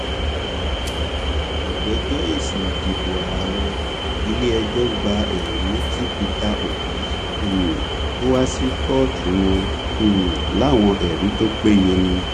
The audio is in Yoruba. ìgbẹjọ èsì ìdìbò ààrẹ ilẹẹjọ gba ẹrí tí pété obi um kọ wá sí kóòtù wọn um láwọn ẹrí tó péye ni